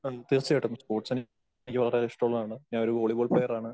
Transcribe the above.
ആ തീർച്ചയായിട്ടും സ്പോർട്സ് എനിക്ക് വളരെയേറെ ഇഷ്ടമുള്ളതാണ്. ഞാൻ ഒരു വോളിബോൾ പ്ലെയറാണ്.